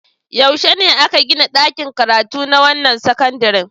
Yaushe aka gina ɗakin karatu na wannan sakandaren?